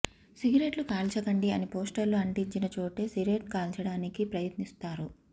సిగరెట్లు కాల్చకండి అని పోస్టర్లు అంటించిన చోటే సిరెట్ కాల్చడానికి ప్రయత్నిస్తారు